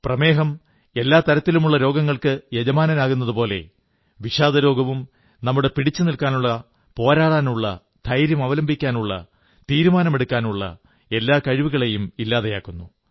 പ്രമേഹം എല്ലാ തരത്തിലുമുള്ള രോഗങ്ങൾക്ക് യജമാനനാകുന്നതുപോലെ വിഷാദരോഗവും നമ്മുടെ പിടിച്ചു നില്ക്കാനുള്ള പോരാടാനുള്ള ധൈര്യമവലംബിക്കാനുള്ള തീരുമാനമെടുക്കാനുള്ള എല്ലാ കഴിവുകളെയും ഇല്ലാതെയാക്കുന്നു